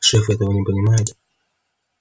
шеф этого не понимает